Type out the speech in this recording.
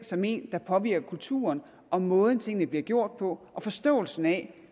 som en der påvirker kulturen og måden tingene bliver gjort på og forståelsen af